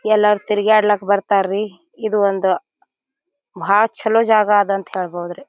ಎಲ್ಲಾರು ತಿರಗಾಡಲ್ಲಿಕ್ ಬರ್ತಾರ ರೀ ಇದು ಒಂದ್ ಬಾಳ್ ಚಲೋ ಜಾಗ್ ಅದಂತ ಹೇಳಬಹುದ್ರೀ.